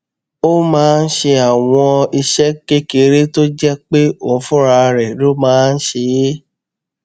ó máa ń ṣe àwọn iṣé kékeré tó jé pé òun fúnra rè ló máa ń ṣe é